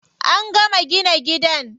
An gama gina gidan.